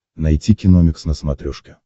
найти киномикс на смотрешке